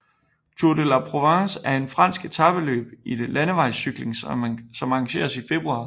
Tour de La Provence er et fransk etapeløb i landevejscykling som arrangeres i februar